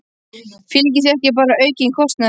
Fylgir því ekki bara aukinn kostnaður?